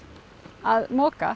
að moka